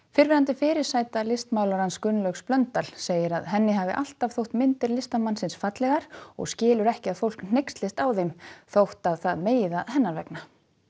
fyrrverandi fyrirsæta listmálarans Gunnlaugs Blöndal segir að henni hafi alltaf þótt myndir listamannsins fallegar og skilur ekki að fólk hneykslist á þeim þótt það megi það hennar vegna